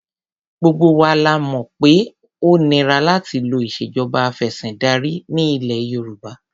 Gbogbo wa la mọ̀ pé ó nira láti lo ìṣèjọba afẹ̀sìndarí ní ilẹ̀ Yorùbá.